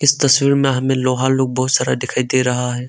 इस तस्वीर में हमें लोहा लोग बहुत सारा दिखाई दे रहा है।